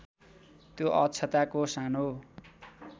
त्यो अक्षताको सानो